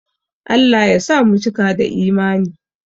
Allah ya sa mu cika da Imani